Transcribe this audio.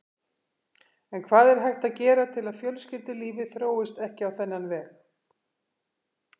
En hvað er hægt að gera til að fjölskyldulífið þróist ekki á þennan veg?